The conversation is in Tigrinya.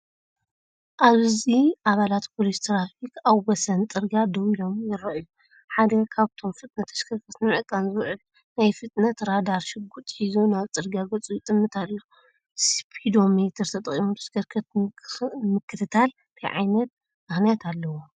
ኣብዚ ኣባላት ፖሊስ ትራፊክ ኣብ ወሰን ጽርግያ ደው ኢሎም ይረኣዩ። ሓደ ካብኣቶም ፍጥነት ተሽከርከርቲ ንምዕቃን ዝውዕል ናይ ፍጥነት ራዳር ሽጉጥ ሒዙ ናብ ጽርግያ ገጹ ይጥምት ኣሎ። ስፒዶሜተር ተጠቒሞም ተሽከርከርቲ ንምክትታል እንታይ ምኽንያት ኣለዎም?